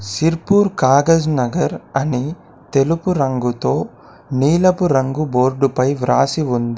సిర్పూర్ కాగజ్నగర్ అని తెలుపు రంగుతో నీలపు రంగు బోర్డుపై వ్రాసి ఉంది.